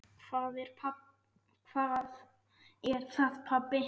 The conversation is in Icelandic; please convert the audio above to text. Hvað er það, pabbi?